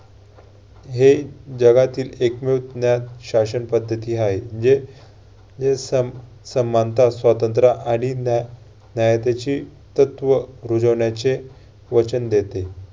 हे जगातील एकमेव ज्ञानशासन पद्धती आहे. जे जे सम~ समानता, स्वातंत्र्य आणि न्या~ न्याय त्याची तत्व रूजवण्याचे वचन देते.